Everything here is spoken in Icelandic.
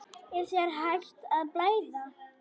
Er þér hætt að blæða?